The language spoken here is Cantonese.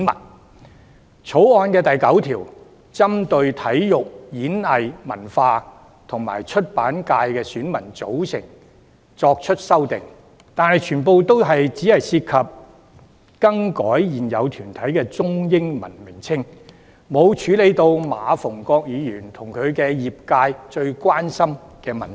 雖然《條例草案》第9條針對體育、演藝、文化及出版界的選民組成作出修訂，但全部只涉及更改現有團體的中英文名稱，並未處理馬逢國議員和其業界最關心的問題。